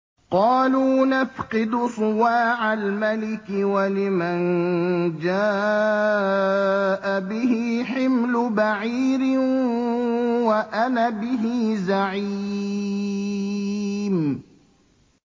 قَالُوا نَفْقِدُ صُوَاعَ الْمَلِكِ وَلِمَن جَاءَ بِهِ حِمْلُ بَعِيرٍ وَأَنَا بِهِ زَعِيمٌ